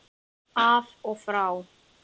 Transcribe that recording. Af og frá.